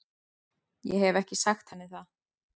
Ég hef ekki sagt henni það.